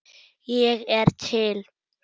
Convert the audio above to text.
Ég er til